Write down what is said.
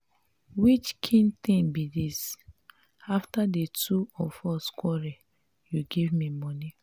which kin thing be dis. after the two of us quarrel you give me money.